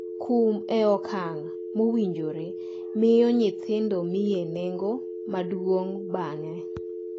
Kum e okang’ mowinjore miyo nyithindo miye nengo maduong’ bang’e.